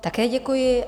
Také děkuji.